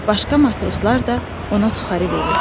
Başqa matroslar da ona suxarı verirdilər.